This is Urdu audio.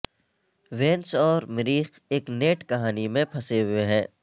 وینس اور مریخ ایک نیٹ کہانی میں پھنسے ہوئے ہیں